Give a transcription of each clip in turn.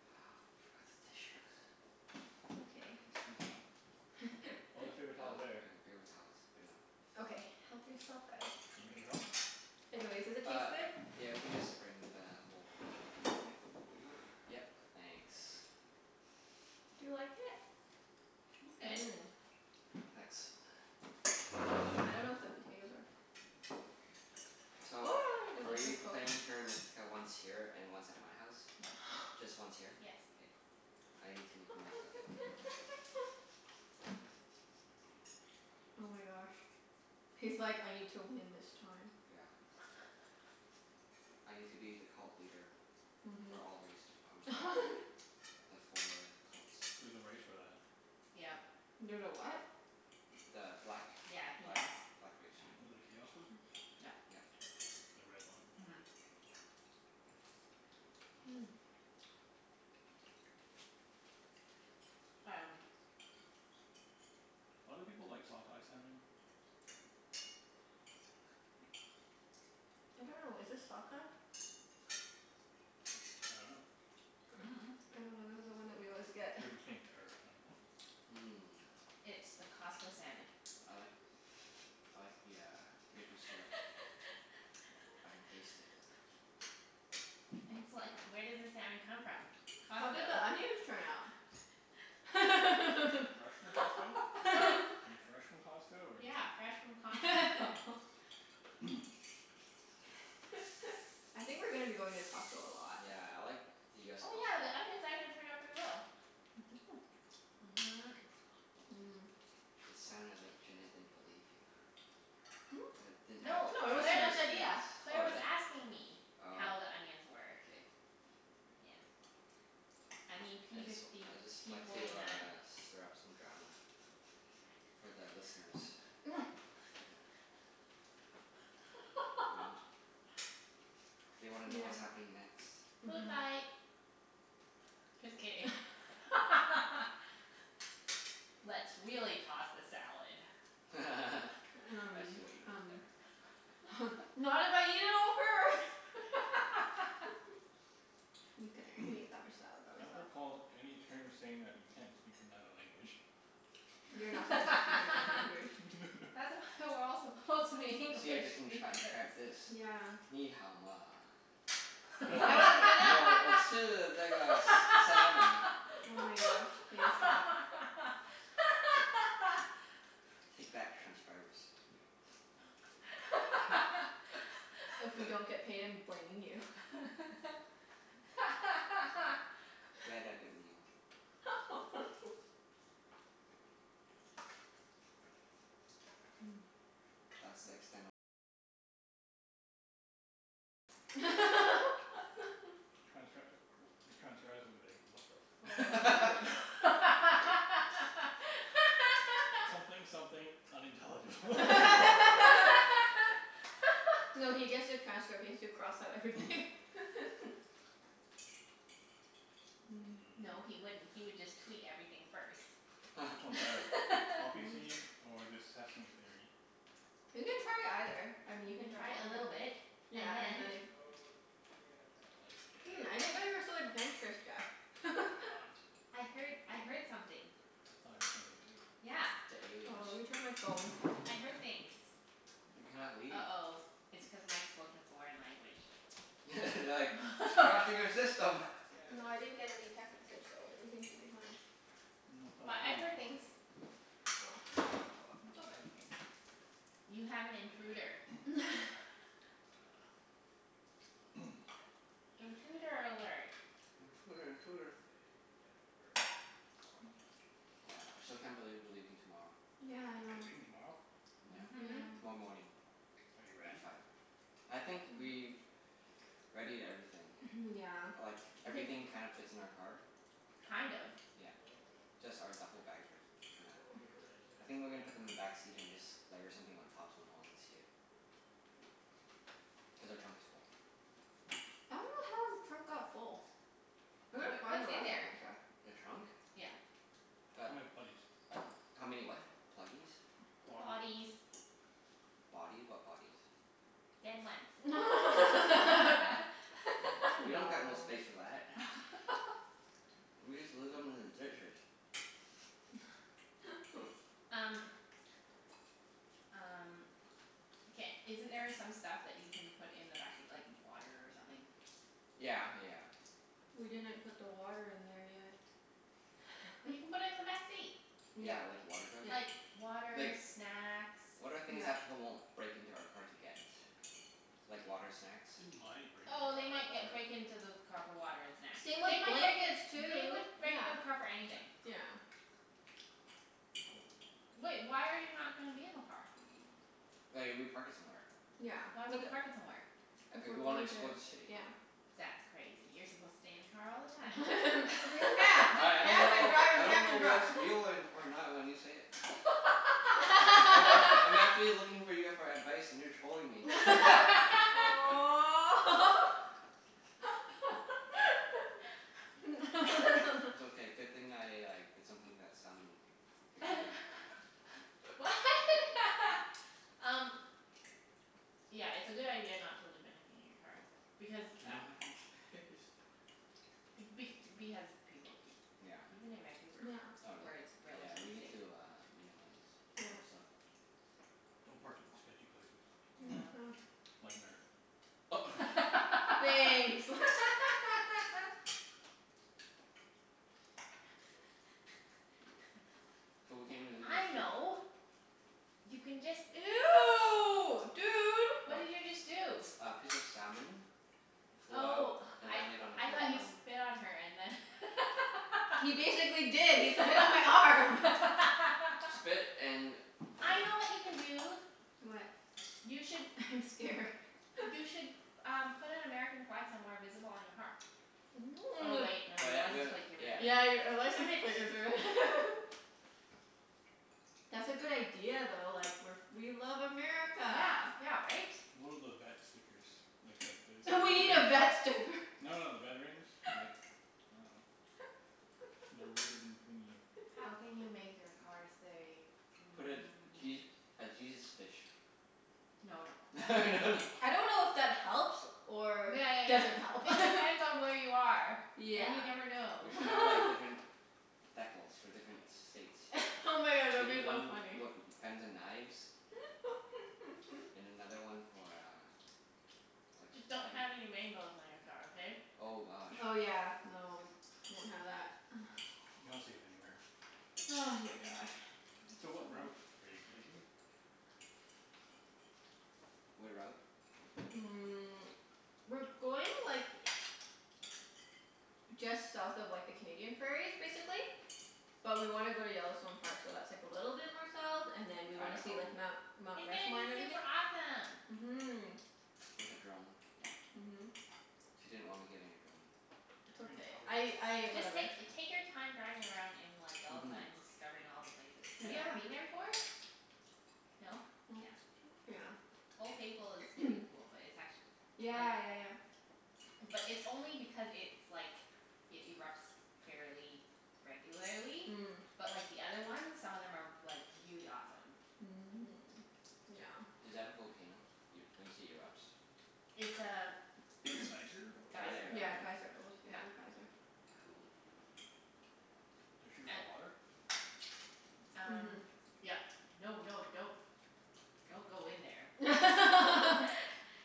We forgot the tissues. It's okay. Oh, there's Oh, I got paper paper towels there. towels. Good enough. Okay, help yourself guys. You need paper towel? Anyways, does it Uh, taste good? yeah we can just bring the whole Okay. roll. Over? Yep. Thanks. Do you like it? It's good. Mmm. Thanks. I don't know if the potatoes are So are we playing Terra Mystica once here and once at my house? No. Just once here? Yes. K. I need to make the most of it. Oh my gosh. He's like, "I need to win this time." Yeah. I need to be the cult leader for Mhm. all race or for all the four cults. There's a race for that. Yep. There's a what? The black Yeah, he black knows. black race. The chaos wizards? Yep. Yep. The red one. Mhm. Mm. Um Why do people like sockeye salmon? I don't know. Is this sockeye? I dunno. I don't know. This is the one that we always get. This is pink or I dunno. Mmm. It's the Costco salmon. I like I like the uh maple syrup. I can taste it. It's like, where does the salmon come from? How did Costco. the onions turn out? Fresh fresh from Costco? Are they fresh from Costco or like Yeah, fresh from Costco. I think we're gonna be going to Costco a lot. Yeah, I like the US Oh yeah, the Costco. onions actually turned out pretty well. Mhm. Mmm. It sounded like Junette didn't believe you. That didn't Hmm? have No, No, it was trust Claire in your was, Junette's idea. skills. Claire Oh was really? asking me Oh. how the onions were. K. Yeah. I mean I p just w- fifty I just p like to forty nine. uh stir up some drama. For the listeners. You know? They wanna know Yeah. what's happening next. Food Mhm. fight. Just kidding. Let's really toss the salad. I Um see what you did um there. Not if I eat it all first. Mkay, I can eat that much salad I by don't myself. recall any terms saying that you can't speak another language. You're not supposed to speak another language. That's why we're all supposed to be English See if they can transcribe speakers. this. Nǐ hǎo ma? I was gonna salmon. Oh my gosh, K, stop. Take that, transcribers. If we don't get paid I'm blaming you. It's okay. We had that good meal. Mmm. Transcr- these transcribers will be like, "What the fuck?" "Something something, unintelligible." No, he gets the transcript. He has to cross out everything. Mmm. No, he Mmm. wouldn't. He would just tweet everything first. Which one's better? Poppy Mm. seed or this sesame thingie? You can try either. I mean You you can can try try a both, little bit yeah and and then then if I Hmm, I didn't know guess. you were so adventurous, I Jeff. am not. I heard I heard something. I thought I heard something too. Yeah. The Oh, let aliens. me check my phone. I heard things. You cannot leave. uh-oh, it's cuz Mike spoke in a foreign language. They're like, "He's crashing our system." No, I didn't get any text message so everything should be fine. No, I thought I But heard I him heard talking. things. Oh. Hear the talking? I dunno. You have an intruder. Intruder alert. Intruder intruder. Yeah, I still can't believe we're leaving tomorrow. Yeah, I You're know. leaving tomorrow? Yeah. Mhm. Yeah. Tomorrow morning. Are you At ready? five. I think we've readied everything. Mhm, yeah. Like, everything kind of fits in our car. Kind of? Yeah. Just our duffle bags are t- kinda, I think we're gonna put them in the backseat and just layer something on top so no one can see it. Cuz our trunk is full. I dunno how our trunk got full. It looked Wha- fine the what's in last time there? I checked. The trunk? Yeah. Got How many bodies? How many what? Pluggies? Body Bodies. Bodies? What bodies? Dead ones. You Oh. We know. don't got no space for that. We just leave them in the ditches. Um Um, ca- isn't there some stuff that you can put in the backseat, like water or something? Yeah yeah yeah. We didn't put the water in there yet. But you can put it in the backseat. Yeah. Yeah, like a water jug? Yeah. Like water, Like, snacks. what are things They Yeah. that people won't might break into our car to break get? into Like your water, snacks? car Oh for they might ge- break water. into the car for water and snacks. Same with They might break, blankets, they would too. break Yeah. into the car for anything. Yeah. Wait, why are you not gonna be in the car? Like if we park it somewhere. Yeah, Why would like you park it somewhere? If If we're we wanna going to, explore the city. yeah. That's crazy. You're supposed to stay in the car all the time. Yeah. Just I I don't camp and know drive I and don't camp know and drive. what's real or or not when you say it. Oh I I'm actually looking for you for advice and you're trolling me. Aw. It's okay. Good thing I like did something to that salmon you're eating. What? Um Yeah, it's a good idea not to leave anything in your car. Because We a- don't have enough space. Be- because people do, Yeah. even in Vancouver, Yeah. Oh where really? it's Yeah, we relatively need safe. to uh minimize some Yeah. stuff. Don't park in sketchy places Yeah. like America. Thanks. So we can't even leave our I food. know You can just Ew, dude. What? What did you just do? A piece of salmon flew out Oh, and I landed on I Claire's thought you arm. spit on her and then He basically did. He spit on my arm. Spit and I know what you can do. What? You should I'm scared. You should um put an American flag somewhere visible on your car. Oh wait, no. Your But th- license we plate give it Yeah. away. Yeah, you're ri- a Damn license it. plate is re- That's a good idea though. Like we're f- we love America. Yeah, yeah right? One of those vet stickers. Like that We need a vet sticker. No, no, the veterans. Like, I dunno. The ribbon thingie. How can you make your car say Put a mm Je- a Jesus fish. No no. No no. I don't know if that helps or Yeah, yeah, doesn't help. yeah. It depends on where you are. And you Yeah. never We know. should have like different decals for different states. Oh my god, that We would be need though one funny. with guns and knives. And another one for uh like a Just don't flag. have any rainbows on your car, okay? Oh gosh. Oh yeah, no, won't have that. You're not safe anywhere. Ah, my god. So what route are you taking? What route? Mm, we're going like just south of like the Canadian prairies, basically. But we want to go to Yellowstone Park, so that's like a little bit more south, and then we want to see Idaho. like Mount Mount It's gonna Rushmore be and everything. super awesome. Mhm. With a drone? Yeah. Mhm. She didn't want me getting a drone. It's okay. I I, Just whatever. take take your time driving around in like Yellowstone Mhm. and discovering all the places. Have you ever been Yeah. there before? Yeah. No? Yeah. Yeah. Mm. Old Faithful is pretty cool, but it's actu- like Yeah, yeah, yeah. But it's only because it's like, it erupts fairly regularly. Mm. But like the other ones, some of them are like really awesome. Is that a volcano? Y- when you say erupts? It's a Geyser? geyser. Geyser. Oh. Yeah, geyser. Old Yeah. Faithful geyser. Cool. Does shoot hot And water? Um Mhm. yep. No, no, don't don't go in there.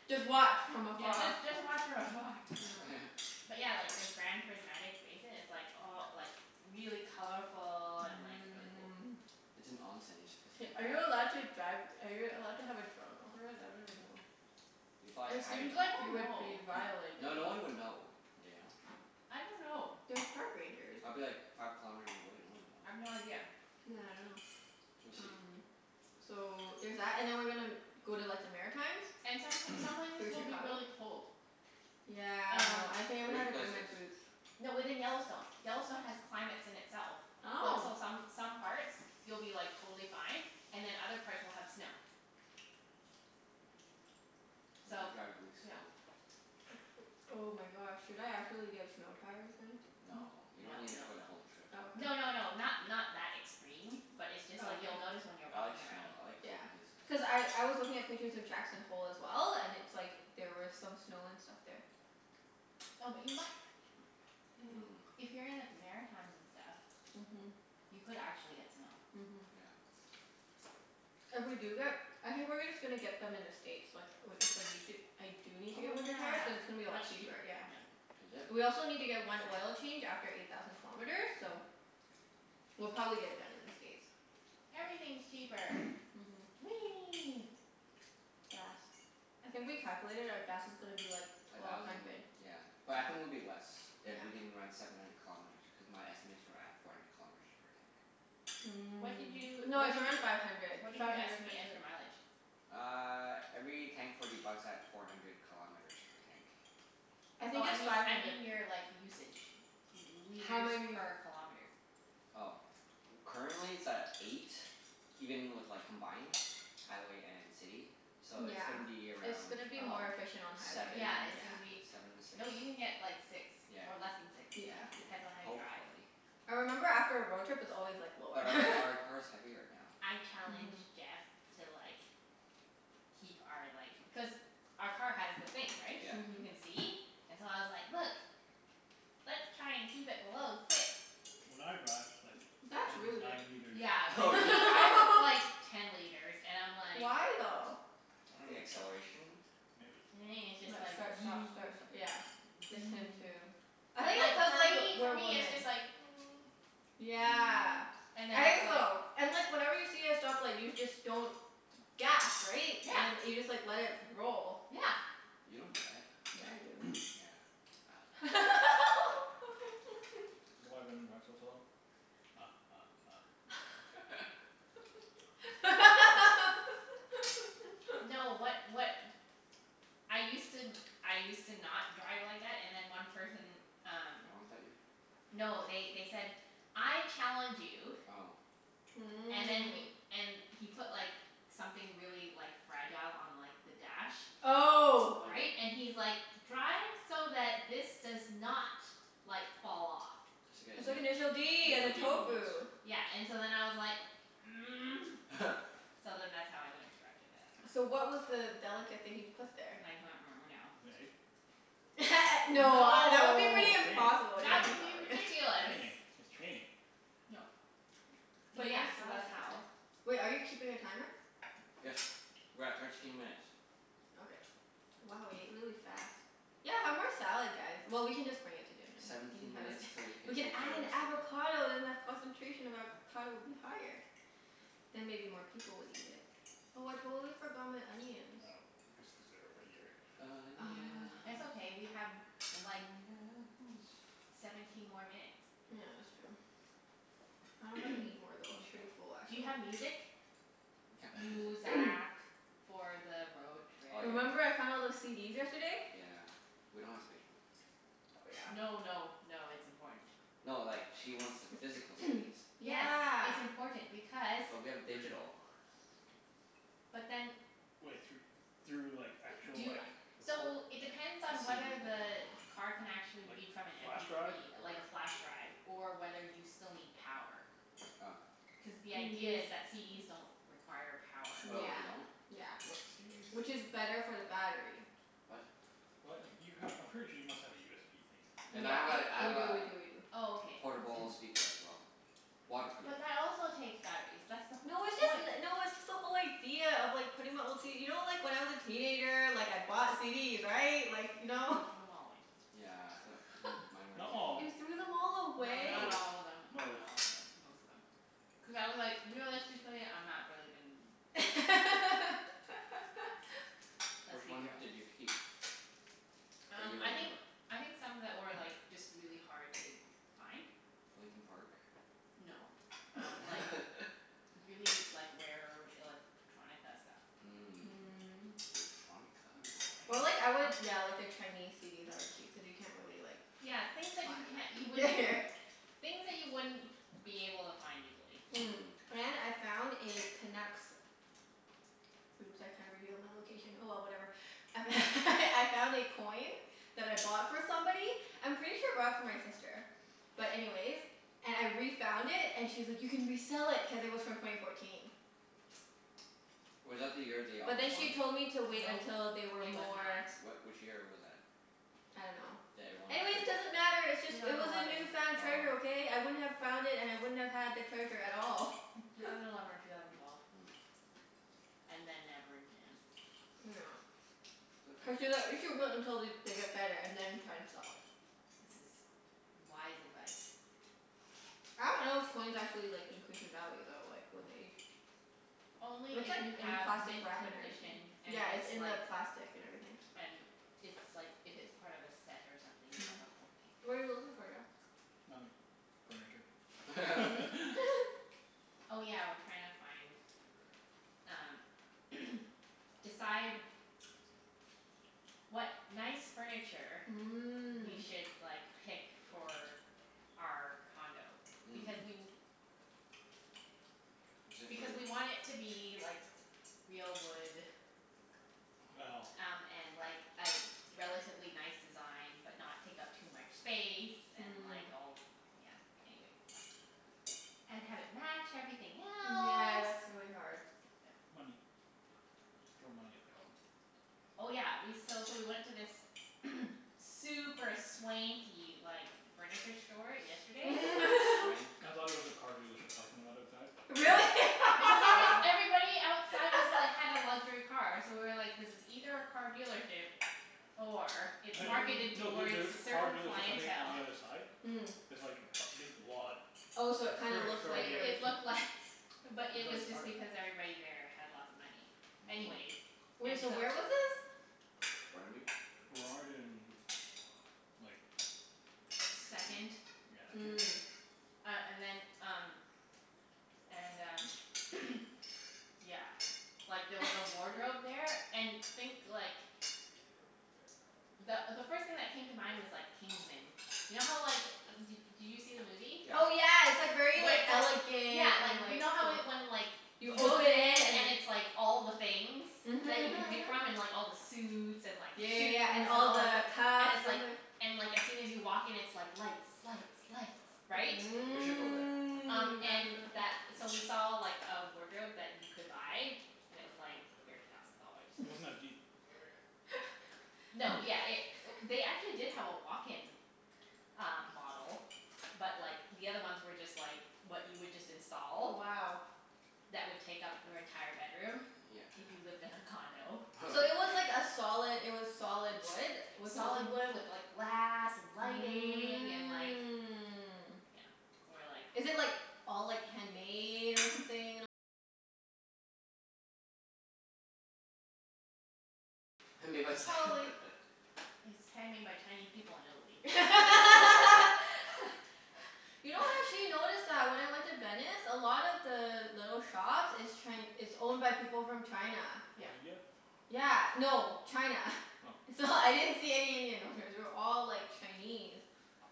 Just watch from Yeah, afar. just just watch from afar. Yeah. But yeah, like the Grand Prismatic Basin is like all like really colorful and like really cool. Mmm. It's an. You're supposed to Hey, take are you a allowed bath in it. to drive, are you allowed to have a drone over it? I don't even know. If you fly it It high seems enough. I like don't you N- would know. be violating. no, no one would know, you know? I don't know. There's park rangers. I'd be like five kilometers away. No one I've no would know. idea. Yeah, I dunno. We'll see. Um so there's that. And then we're gonna go to like the Maritimes. And some some places Through will be Chicago. really cold. Yeah, I Um know. I think I'm gonna Which have to bring my places? boots. No, within Yellowstone. Yellowstone has climates in itself. Like Oh. so some some parts you'll be like totally fine and then other parts will have snow. We'll have So, to drive really yeah. slow. Oh my gosh, should I actually get snow tires then? N- No. You don't no need it no for the no. whole trip. Oh, No, okay. no, no, not not that extreme. But it's just Oh, like okay. you'll notice when you're I like walking snow. around. I like Yeah. cold places. Cuz I I was looking at pictures of Jackson Hole as well, and it's like there were some snow and stuff there. No, but you mi- Mmm. if you're in the Maritimes and stuff Mhm. You could actually get snow. Mhm. Yeah. If we do get, I think we're gonna just gonna get them in the States like i- if we need to, I do need to Oh get winter tires. Cuz it's gonna be a yeah, lot much cheaper. cheaper. Yeah. Yep. Is it? We also need to That's get one oil fair. change after eight thousand kilometers, so We'll probably get it done in the States. Everything's cheaper. Mhm. Whee! Gas. I think we calculated our gas is gonna be like A twelve thousand, hundred. yeah. But I think it'll be less Yeah. if we can run seven hundred kilometers, because my estimates were at four hundred kilometers per tank. What did Mm. you No, what did it's around you five hundred. what did Five you hundred estimate as your mileage? Uh every tank forty bucks at four hundred kilometers per tank. I Oh think I it's mean five I hundred. mean your like usage. L- How liters many per kilometer. Oh. Currently it's at eight, even with like combined, highway and city. So it's Yeah. gonna be It's around gonna be Oh. more efficient on seven? highway. Yeah, it's Yeah. gonna be, Seven m- six. no, you can get like six, Yeah, or less than six. Yeah. yeah. Depends on how you drive. Hopefully. I remember after a road trip it's always like lower. But our our car's heavier now. I Mhm. challenged Jeff to like keep our like, cuz our car has the thing, right? Yeah. You Mhm. can see. And so I was like, "Look, let's try and keep it below six." When I drive it's like That's really ten good. nine liters. Yeah, Oh, when really? he drives it's like ten liters and I'm like Why, though? The acceleration? I Maybe it's just Like dunno. like. start, stop, start, st- Maybe. yeah. him too. I But think it's like cuz for like, me for we're me it's just women. like Yeah. and then I it's think like so. And like whenever you see a stoplight you just don't gas, right? And then Yeah. you just like let it roll. Yeah. You don't do that. Yeah, I do. Yeah, I dunno. Is that why women drive so slow? Ha ha ha. No, what what I used to, I used to not drive like Oh. that, and then one person um Honked at you? No, they they said "I challenge you" Oh. and then he, Mmm. and he put like something really like fragile on like the dash. Oh. Like Right? And he's like, "Drive so that this does not like fall off." I said initial d and the D moment. tofu. Yeah, and so then I was like So then that's how I learned to drive like that. So what was the delicate thing he put there? I can't remember now. An egg? No, that would be No. pretty It's just impossible. That would training. be Training. ridiculous. Training. It's training. No. But Eat more yeah, so that's salad how guys. Wait, are you keeping a timer? Yes. We're at thirteen minutes. Okay. Wow, we ate really fast. Yeah, have more salad guys. Well, we can just bring it to dinner. We can Seventeen have a s- minutes til we can we can play add Terra an Mystica. avocado then the concentration of avocado would be higher. I Then maybe more people would eat it. Oh, I totally forgot my onions. know. Just cuz they're over here. It's Onions. okay, we have like Onions. seventeen Oh, more yes. minutes. Yeah, that's true. I dunno if I can eat more, We though. can I'm pretty chill. full, Do you actually. have music? We can't play music. Muzak. For the road trip. Oh Remember yeah. I found all those CDs yesterday? Yeah. We don't have space for them. Oh, yeah. No, no, no, it's important. No, like she wants the physical CDs. Yes. Yeah. It's important because But we have digital. But then Wai- thr- through like actual Do you, like recor- so it depends A on CD whether player. the car can actually Like, read from an m flash p drive three, or like a flash drive Or whether you still need power. Oh. Cuz the idea is that CDs don't require power. Oh, Yeah. they don't? Yeah. What CDs? Which is better for the battery. What? What? If you have, I'm pretty sure you must have a USB thing. And Yeah. I have a I We have do, a we do, we do. Oh, All okay. right. portable That's good. speaker as well. Waterproof. But that also takes batteries. That's the No, it's just point. n- no, it's just the whole idea of like putting my old CD, you know like when I was a teenager, like I bought CDs, right? Like, you know? He threw them all away. Yeah d- mine were a Not all. You waste of money. threw them all No, away? not Most. all of them. Not Most. all of them. Most of them. Cuz I was like, realistically I'm not really gon- Let's Which be ones real. did you keep? That you Um I think, remember? I think some that were like just really hard to find. Linkin Park? No, um like really, like rare electronica stuff. Mm Mm. electronica. Electronica? Or like I would yeah, like the Chinese CDs I would keep, cuz you can't really like Yeah, things that find you can't, you them. Yeah, wouldn't yeah. Things that you wouldn't be able to find easily. Mm, Mhm. and I found a Canucks, oops I kinda revealed my location. Oh well, whatever. I f- I found a coin that I bought for somebody. I'm pretty sure I bought it for my sister. But anyways, and I refound it and she was like, "You can resell it." Cuz it was from twenty fourteen. Was that the year they But almost then she won? told me to wait Nope. until they were It was more not. What, which year was that? I don't know. That everyone is thinking? Anyways, doesn't matter. It's just, Two it thousand was a eleven. newfound treasure, Oh. okay? I wouldn't have found it and I wouldn't have had the treasure at all. Two thousand eleven or two thousand twelve. Mm. And then never again. It's okay. we should wait until they they get better and then try to sell it. This is wise advice. I don't know if coins actually like increase in value though, like with age. Only It's if like you in have plastic mint wrap and everything. condition and Yeah, it's it's in like the plastic and everything. and it's like, if it's part of a set or something, you have the whole thing. What are you looking for, Jeff? Nothing. Furniture. Mhm. Oh yeah, we're trying to find um decide what nice furniture we Mm. should like pick for our condo. Hmm. Because we Is it for because we want it to be like real wood Well. Yeah. um and like a relatively nice design, but not take up too much space. And Mm. like all, yeah. Anyways. And have it match everything Yeah, else. that's really hard. Money. Just throw money at the problem. Oh yeah, we, so so we went to this super swanky like furniture store yesterday. Swanky. I thought it was a car dealership parking lot outside, but no. Really? Because it was, everybody outside was like, had a luxury car, so we were like, this is either a car dealership or it's marketed Mm. No, there towards there is a a car certain dealership, I think, on clientele. the other side. Mm. There's like a p- a big lot. Oh, so it kinda Furniture looked store It like it here. was it looked Looked like, but it was like part just of it. because everybody there had lots of money. Anyways, Mm. Wait, and so so where was this? Burnaby? Burrard and like Vancouver. Second. Yeah, Kits. Mm. Uh and then, um And um yeah, like there was a wardrobe there. And think like the the first thing that came to mind was like Kingsmen. You know how like, d- did you see the movie? Oh Yeah. yeah, it's like very Where like it's like, yeah, elegant like and you like know how when like You he open goes in it and and then it's like all the things that you Mhm can mhm pick mhm. from, and like all the suits and Yeah, like yeah, shoes, yeah. And and all all the the, and cuffs it's and the like and like as soon as you walk in it's like lights, lights, lights, Mm. right? We should go That there. sounds Um and really th- so cool. we saw like a wardrobe that you could buy. And it was like thirty thousand dollars. Wasn't as deep. No, yeah, it, they actually did have a walk-in uh model but like the other ones were just like what you would just Wow. install that would take up your entire bedroom if Yeah. you lived in a condo. So it was like a solid it was solid wood? Was something Solid wood with like glass and lighting and like, you know. Mm. And we're like Made by s- It's handmade by Chinese people in Italy. You know actually I noticed that when I went to Venice, a lot of the little shops, it's Chi- it's owned by people from China. Or Yep. India? Yeah. No. China. Oh. It's all, I didn't see any Indian owners. They were all, like, Chinese.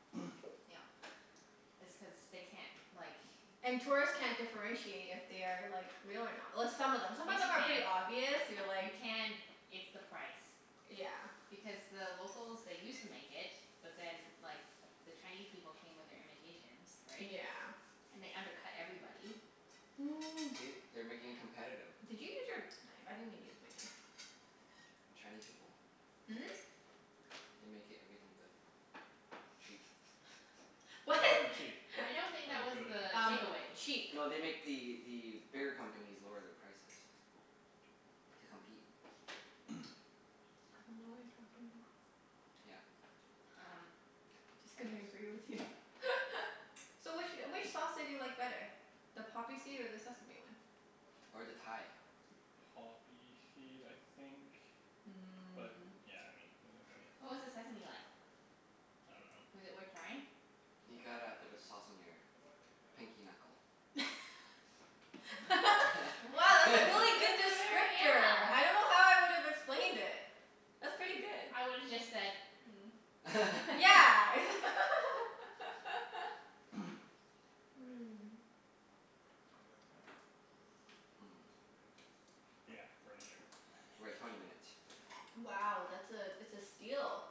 Yep. It's cuz they can't, like And tourists can't differentiate if they are, like, real or not. Well, some of them, some of them are Yes pretty you obvious. can. You're You like can. It's the price. Yeah. Because the locals, they used to make it, but then like the Chinese people came with their imitations, right? Yeah. And they undercut everybody. See? They're making it competitive. Did you use your knife? I didn't even use my knife. Chinese people. Hmm? They make everything good. Cheap. They What? make everything cheap. I I don't dunno think good. that was Um the takeaway. cheap. No, they make the the bigger companies lower their prices. To compete. I dunno what you're talking about. Yeah. Um Just gonna Anyways. agree with you. So which wh- which sauce did you like better? The poppy seed or the sesame one? Or the Thai. Poppy seed, I think. Mm. But yeah, I mean it was okay. What was the sesame like? Was it worth trying? I dunno. I You got a bit of dunno. sauce on your pinky knuckle. Mm? Wow, that's a really That good was a very, descriptor. I yeah don't know how I would've explained it. That's pretty good. I would have just said Yeah. Mmm. Yeah, furniture. We're at twenty minutes. Wow, that's a, it's a steal.